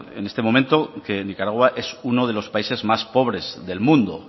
en este momento que nicaragua es uno de los países más pobres del mundo